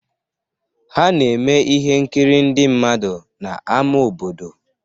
Ha na-eme ihe nkiri ndị mmadụ n'ámá obodo.